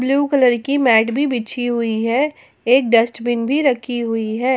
Blue colour की mat भी बिछी हुई है एक डस्टबिन भी रखी हुई है।